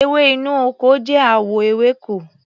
Ewé inú ọkọ jẹ́ àwọ ewéko.